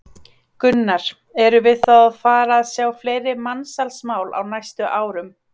Gunnar: Erum við þá að fara að sjá fleiri mansalsmál á næstu árum?